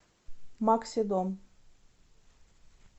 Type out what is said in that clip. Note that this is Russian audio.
максидом